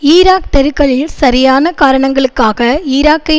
Iraq தெருக்களில் சரியான காரணங்களுக்காக ஈராக்கை